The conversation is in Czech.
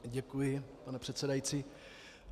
Děkuji, pane předsedající.